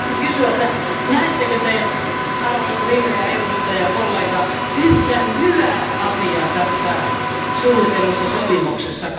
Haluaisin kysyä, että näettekö Te arvoisa vihreä edustajakollega yhtään hyvää asiaa tässä suunnitellussa sopimuksessa?